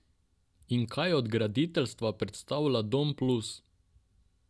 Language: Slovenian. In kaj od graditeljstva predstavlja Dom Plus?